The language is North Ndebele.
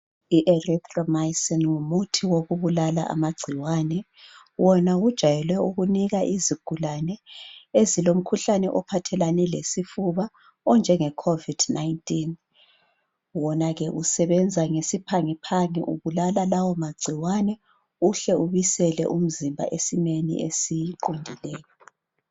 Erythromycin ngumuthi wokubulala amagcikwane. Wona ujayele ukunikwa izigulane. Ezilomkhuhlane ophathelane lesifuba, onjengeCovid 19.Wona usebenza ngesiphangiphangi, ubulala lawomagcikwane. Ubuyisela umzimba esimeni esiqondileyo.